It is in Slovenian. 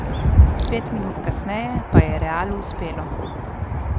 Pet minut kasneje pa je Realu uspelo.